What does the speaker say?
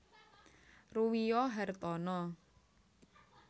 Ruwiyo Hartana